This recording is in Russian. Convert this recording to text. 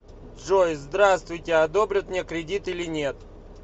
джой здравствуйте одобрят мне кредит или нет